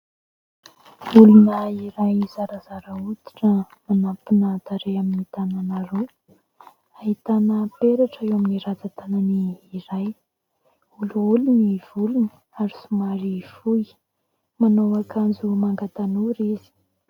Olona iray zarazara hoditra manampina tarehy amin'ny tanana roa, ahitana peratra eo amin'ny rantsan-tanany iray, olioly ny volony ary somary fohy, manao akanjo manga tanora izy.